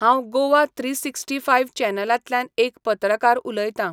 हांव Goa three sixty five चॅनलांतल्यान एक पत्रकार उलयतां.